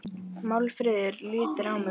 Málfríður lítur á mig og brosir.